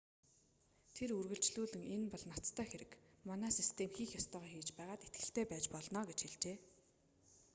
тэр үргэлжлүүлэн энэ бол ноцтой хэрэг манай систем хийх ёстойгоо хийж байгаад итгэлтэй байж болно гэж хэлжээ